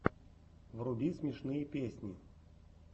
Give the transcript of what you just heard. вруби смешные песни